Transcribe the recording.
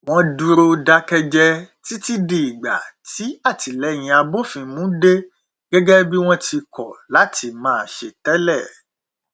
wọn dúró dákẹjẹ dákẹjẹ títí di ìgbà tí àtilẹyìn abófin mu dé gẹgẹ bí wọn ti kọ láti máa ṣe tẹlẹ